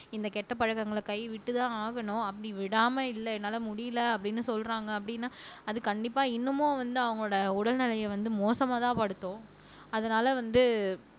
இந்த கெட்ட பழக்கங்களை கைவிட்டுதான் ஆகணும் அப்படி விடாம இல்லை என்னால முடியலை அப்படின்னு சொல்றாங்க அப்படின்னா அது கண்டிப்பா இன்னமும் வந்து அவங்களோட உடல்நிலையை வந்து மோசமாதான் படுத்தும் அதனால வந்து